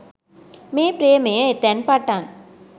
මේ ප්‍රේමය එතැන් පටන්